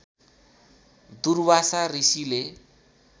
दुर्वासा ऋषिले